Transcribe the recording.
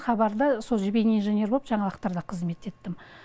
хабарда сол бейнеинженер боп жаңалықтарда қызмет еттім